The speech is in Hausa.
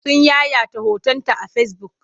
Sun yayata hotonta a fesibuk.